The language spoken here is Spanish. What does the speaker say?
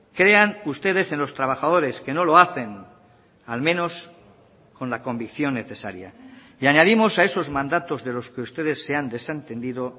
crean ustedes en los trabajadores que no lo hacen al menos con la convicción necesaria y añadimos a esos mandatos de los que ustedes se han desentendido